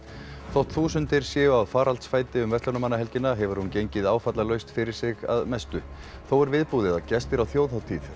þótt þúsundir séu á faraldsfæti um verslunarmannahelgina hefur hún gengið áfallalaust fyrir sig að mestu þó er viðbúið að gestir á þjóðhátíð